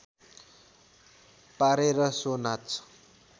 पारेर सो नाच